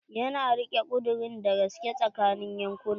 Ya na rike ƙudurin da gaske tsakanin yankunan.